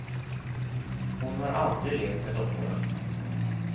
Hon har aldrig lekt med dockorna.